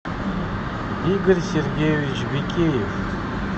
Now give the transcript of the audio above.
игорь сергеевич бикеев